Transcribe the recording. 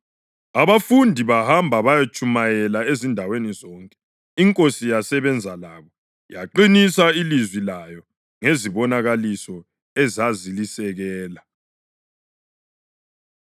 Abafundi bahamba bayatshumayela ezindaweni zonke iNkosi yasebenza labo yaqinisa ilizwi layo ngezibonakaliso ezazilisekela.]